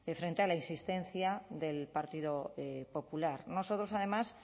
frente a la insistencia del partido popular nosotros además